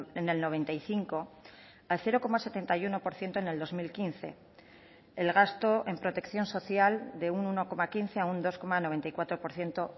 en el noventa y cinco al cero coma setenta y uno por ciento en el dos mil quince el gasto en protección social de un uno coma quince a un dos coma noventa y cuatro por ciento